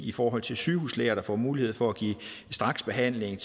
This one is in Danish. i forhold til sygehuslæger der får mulighed for at give straksbehandling